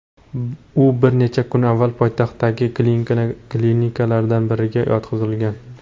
U bir necha kun avval poytaxtdagi klinikalardan biriga yotqizilgan.